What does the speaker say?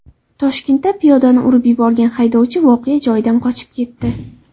Toshkentda piyodani urib yuborgan haydovchi voqea joyidan qochib ketdi.